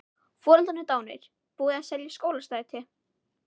Foreldrarnir dánir, búið að selja Skólastræti.